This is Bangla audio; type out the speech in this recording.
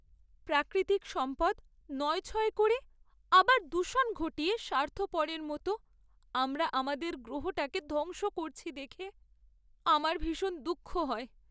প্রাকৃতিক সম্পদ নয়ছয় করে আবার দূষণ ঘটিয়ে স্বার্থপরের মতো আমরা আমাদের গ্রহটাকে ধ্বংস করছি দেখে আমার ভীষণ দুঃখ হয়।